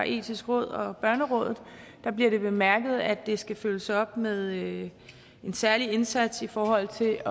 etiske råd og børnerådet bliver det bemærket at det skal følges op med en særlig indsats i forhold til